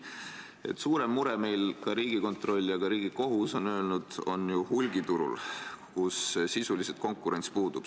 Meie suurem mure – ka Riigikontroll ja Riigikohus on seda öelnud – on ju hulgiturul, kus konkurents sisuliselt puudub.